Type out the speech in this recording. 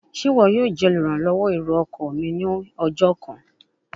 Ṣe iwọ yoo jẹ oluranlọwọ ero-ọkọ mi ni ọjọ kan?